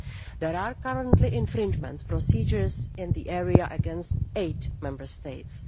There are currently infringement procedures in this area against eight Member States.